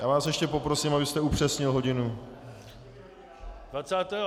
Já vás ještě poprosím, abyste upřesnil hodinu.